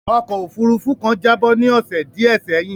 Ọkó òfurufú kan jábọ́ ní ọ̀sè díẹ̀ sẹ́yìn.